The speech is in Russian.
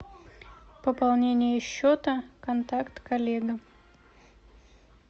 пополнение счета контакт коллега